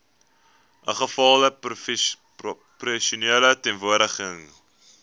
ingevolge proporsionele verteenwoordiging